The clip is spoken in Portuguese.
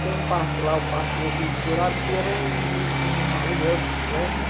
Tem um parque lá, o Parque Euclides Dourado, que era onde tinha aluguel de bicicleta, né?